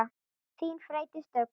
Þín, Freydís Dögg.